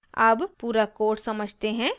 अब पूरा code समझते हैं